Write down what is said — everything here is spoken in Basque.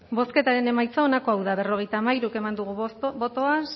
estarrona jauna mesedez bozketan gaude ezin da mugitu bozketan